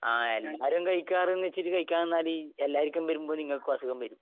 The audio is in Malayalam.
ആ എല്ലാരും കഴിക്കാറ് എന്നുവച്ചിട്ട് കഴിക്കാൻ നിന്നാല് എല്ലാരുക്കും വരുമ്പോ നിങ്ങക്കും അസുഖം വരും.